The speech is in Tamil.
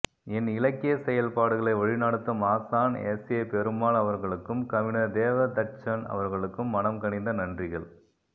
என் இலக்கியச்செயல்பாடுகளை வழிநடத்தும் ஆசான் எஸ்ஏபெருமாள் அவர்களுக்கும் கவிஞர் தேவதச்சன் அவர்களுக்கும் மனம் கனிந்த நன்றிகள்